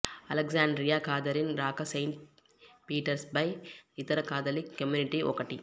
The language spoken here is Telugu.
అలెగ్జాండ్రియా కాథరిన్ రాక సెయింట్ పీటర్స్బర్గ్ ఇతర కాథలిక్ కమ్యూనిటీ ఒకటి